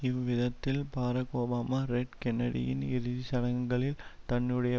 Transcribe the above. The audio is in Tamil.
இவ்விதத்தில் பாரக் ஒபாமா ரெட் கென்னடியின் இறுதி சடங்குகளில் தன்னுடைய